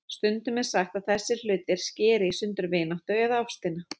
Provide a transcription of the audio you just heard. Stundum er sagt að þessir hlutir skeri í sundur vináttuna eða ástina.